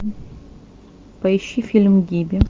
поищи фильм гибби